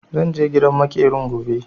Zan je gidan maƙerin gobe.